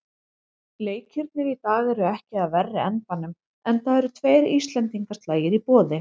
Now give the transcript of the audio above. Leikirnir í dag eru ekki af verri endanum, enda eru tveir íslendingaslagir í boði.